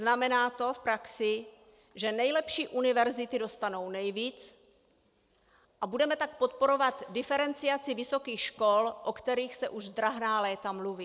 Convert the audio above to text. Znamená to v praxi, že nejlepší univerzity dostanou nejvíc, a budeme tak podporovat diferenciaci vysokých škol, o které se už drahná léta mluví.